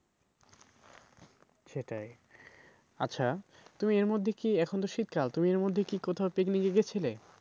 সেটাই আচ্ছা তুমি এর মধ্যে কি এখন তো শীতকাল তুমি এর মধ্যে কি কোথাও picnic গিয়েছিলে?